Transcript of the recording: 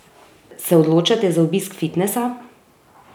Se odločate za obisk fitnesa?